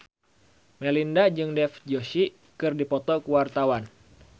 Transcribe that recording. Melinda jeung Dev Joshi keur dipoto ku wartawan